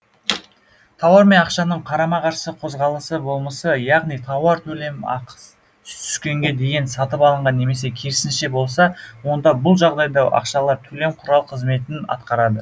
тауар мен ақшаның қарама қарсы қозғалысы болмысы яғни тауар төлем ақы түскенге дейін сатып алынған немесе керісінше болса онда бұл жағдайда ақшалар төлем құрал қызметін атқарады